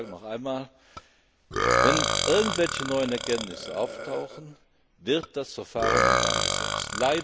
Aber ich sage noch einmal Wenn irgendwelche neuen Erkenntnisse auftauchen, wird das Verfahren in Gang gesetzt.